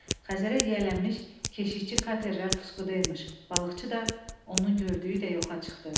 Xəzərə yiyələnmiş keşikçi katerlər puskudaymış, balıqçı da onun gördüyü də yoxa çıxdı.